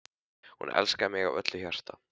Hún elskaði mig af öllu hjarta.